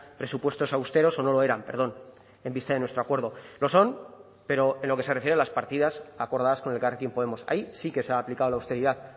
presupuestos austeros o no lo eran perdón en vista de nuestro acuerdo lo son pero en lo que se refiere a las partidas acordadas con elkarrekin podemos ahí sí que se ha aplicado la austeridad